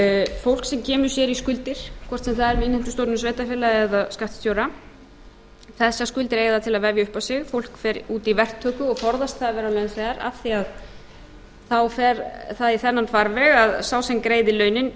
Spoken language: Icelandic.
fólk sem kemur sér í skuldir hvort sem það er við innheimtustofnun sveitarfélaga eða skattstjóra þessar skuldir eiga það til að vefja upp á sig fólk fer út í verktöku og forðast að vera launþegar af því að þá fer það í þennan farveg að sá sem greiðir launin